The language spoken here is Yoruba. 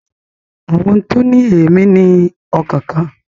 Àwọn ohun tó ní èmí ní ọkàn kan